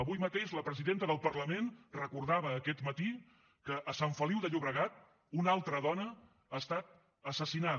avui mateix la presidenta del parlament recordava aquest matí que a sant feliu de llobregat una altra dona ha estat assassinada